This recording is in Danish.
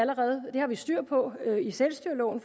det har vi styr på i selvstyreloven